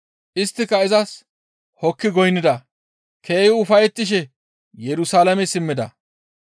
Isttika izas hokki goynnida; keehi ufayettishe Yerusalaame simmida.